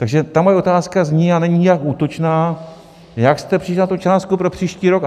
Takže ta moje otázka zní, a není nijak útočná: Jak jste přišli na tu částku pro příští rok?